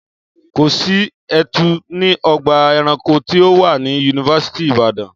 Kò sí etu ní ọgbà ẹranko tí ó wà ní yunifásítì Ìbàdàn